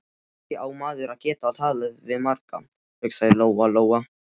Kannski á maður að geta talað við marga, hugsaði Lóa Lóa.